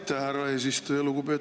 Aitäh, härra eesistuja!